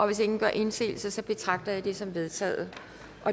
hvis ingen gør indsigelse betragter jeg det som vedtaget